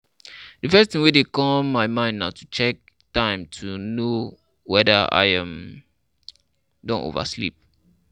Di first thing wey dey come my mind na to check time to know weda I um don over sleep